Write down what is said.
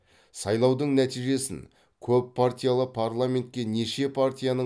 сайлаудың нәтижесін көппартиялы парламентке неше партияның